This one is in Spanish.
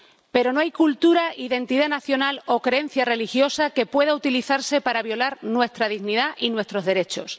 Pero no hay cultura, identidad nacional o creencia religiosa que pueda utilizarse para violar nuestra dignidad y nuestros derechos.